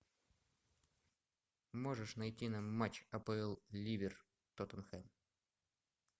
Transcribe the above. можешь найти нам матч апл ливер тоттенхэм